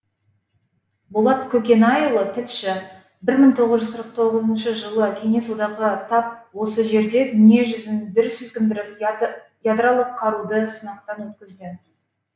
болат көкенайұлы тілші бір мың тоғыз жүз қырық тоғызыншы жылы кеңес одағы тап осы жерде дүние жүзін дүр сілкіндіріп ядролық қаруды сынақтан өткізді